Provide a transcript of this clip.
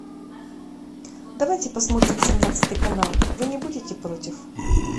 давайте посмотрим семнадцатый канал вы не будете против